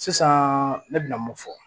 Sisan ne bɛna mun fɔ